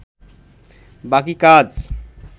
বাকি কাজ